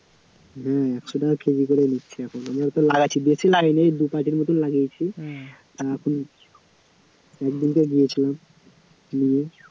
হ্যাঁ একশ টাকা কেজি করে নিচ্ছি এখন, আমরা তো লাগাচ্ছি, বেশি লাগাইনি এই দু পেটির মতো লাগিয়েছি তা এখন এক দুটো গিয়েছিলাম নিয়ে